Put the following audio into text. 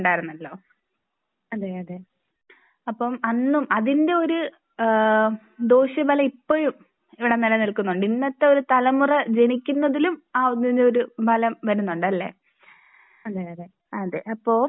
അപ്പോൾ അന്നും അതിന്റെ ഒരു ദോഷഫലം ഇപ്പഴും ഇവിടെ നിലനിൽക്കുന്നുണ്ട് ഇന്നത്തെ ഒരു തലമുറ ജനിക്കുന്നതിലും ആ ഒരു ഫലം വരുന്നുണ്ടല്ലേ? അതേ അപ്പോൾ